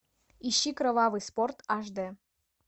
ищи кровавый спорт аш д